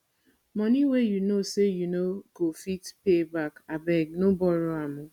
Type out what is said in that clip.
money wey you know say you no go fit pay back abeg no borrow am o